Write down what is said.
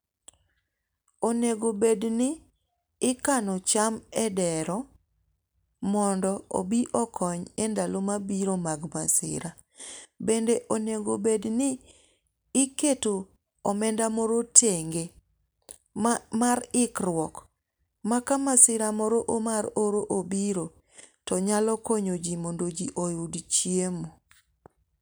Onego bed ni ikano cham e dero mondo obi okony e ndalo mabiro mag masira. Bende onego bed ni iketo omenda moro tenge mar ikruok ma ka masira moro mar oro obiro to nyalo konyo ji mondo ji oyud chiemo.